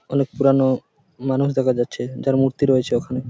আনেক পুরানো মানুষ দেখা যাচ্ছে যার মূর্তি রয়েছে ওখানে।